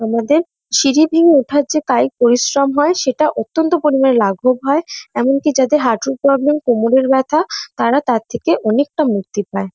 আমাদের সিঁড়ি ভেঙে ওঠার যে কাইক পরিশ্রম হয় সেটা অত্যন্ত পরিমাণে লাঘব হয় । এমনকি যাদের হাঁটুর প্রবলেম কোমর ব্যথা তারা তার থেকে অনেকটা মুক্তি পায়।